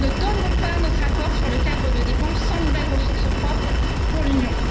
Nous ne donnerons pas notre accord sur le cadre de dépenses sans nouvelles ressources propres pour l'Union.